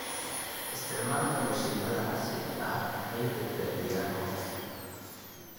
Isticmaalka mashiinnada casriga ah waxay badbaadiyaan waqti.